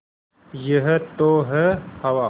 यह तो है हवा